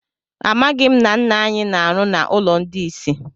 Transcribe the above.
Amaghị m na nna anyị na-arụ na ụlọ ndị isi.